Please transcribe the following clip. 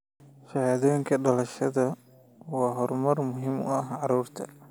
Shahaadooyinka dhalashadu waa horumar muhiim u ah carruurta.